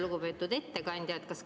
Lugupeetud ettekandja!